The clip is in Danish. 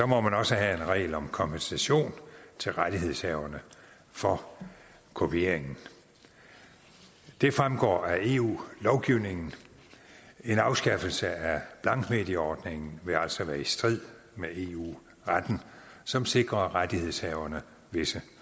må man også have en regel om kompensation til rettighedshaverne for kopiering det fremgår af eu lovgivningen og en afskaffelse af blankmedieordningen vil altså være i strid med eu retten som sikrer rettighedshaverne visse